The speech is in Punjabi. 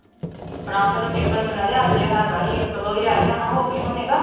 ਪ੍ਰਭ ਦੇ ਪੇਪਰ, ਮੈਨੂੰ ਲਗਦਾ ਅੱਜ ਹੈਗਾ ਸੀ ਇੱਕ-ਦੋ ਹੀ ਰਹਿ ਗਿਆ ਹੋਣਾ, ਹੋਗੇ ਹੋਣੇ ਕਿਉਂ।